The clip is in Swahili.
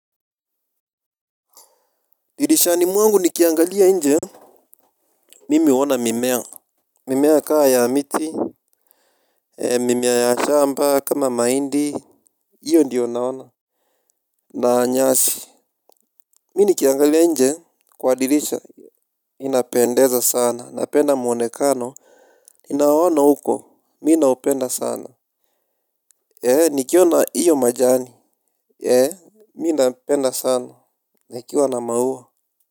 Dirisha ni mwangu ni kiangalia nje. Mimi huona mimea. Mimea kaa ya miti. Mimea ya shamba kama mahindi. Iyo ndiyo naona. Naanyasi. Mi ni kiangalia inje kwa dirisha. Ni na pendeza sana. Na penda mwonekano. Ni na waona huko. Mi na upenda sana. Eee ni kiwana iyo majani. Eee. Mi na penda sana. Nikiwa na maua.